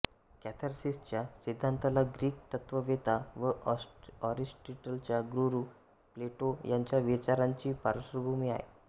कॅथार्सिसच्या सिद्धांताला ग्रीक तत्त्ववेत्ता व एरिस्टॉटलचा गुरु प्लेटो याच्या विचारांची पार्श्वभूमी आहे